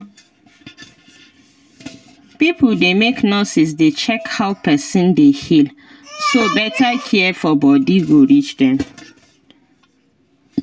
pipo dey make nurses dey check how person dey heal so better care for body go reach dem